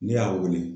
Ne y'a wele